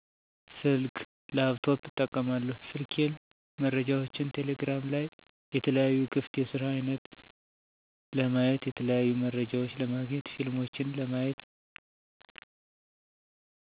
ስልክ፣ ላፕቶፕ እጠቀማለሁ ስልኬን መረጃዎችን ቴሌግራም ላይ የተለያዩ ክፍት የስራ አይነት ለማየት የተለያዩ መረጃዎች ለማግኘት ፊልሞችን ለማየት